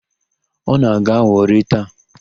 Ọ na-aga Wọrị taa?